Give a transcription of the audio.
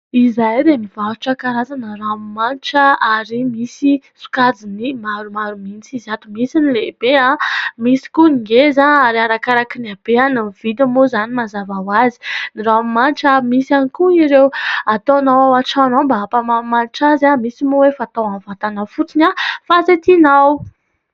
Izahay dia mivarotra karazana ranomanitra ary misy sokajiny maromaro mihitsy izy ato. Misy ny lehibe, misy koa ny ngeza ary arakaraky ny abehany ny vidiny moa izany mazava ho azy. Ny ranomanitra, misy ihany koa ireo ataonao ao an-trano mba hampamanimanitra azy. Misy moa efa natao amin'ny vantana fotsiny fa izay tianao.